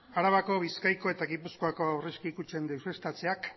arabako bizkaiko eta gipuzkoako aurrezki kutxen deuseztatzeak